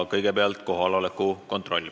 Kõigepealt teeme kohaloleku kontrolli.